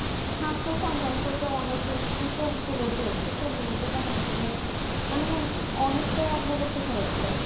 স্বাস্থ সংক্রান্ত যার অনেকে সুযোগ গুলো যে সূচক গুলোতে দেখা গেছে যে মানে অনেকটাই অগ্রগতি করেছে